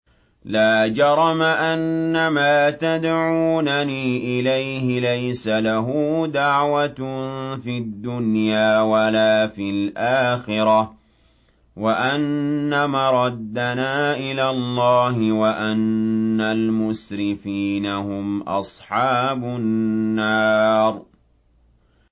لَا جَرَمَ أَنَّمَا تَدْعُونَنِي إِلَيْهِ لَيْسَ لَهُ دَعْوَةٌ فِي الدُّنْيَا وَلَا فِي الْآخِرَةِ وَأَنَّ مَرَدَّنَا إِلَى اللَّهِ وَأَنَّ الْمُسْرِفِينَ هُمْ أَصْحَابُ النَّارِ